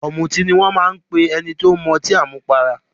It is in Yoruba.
"Ọ̀mùtí" ni wọ́n ń pe ẹni tó máa ń mu ọtí àmupara.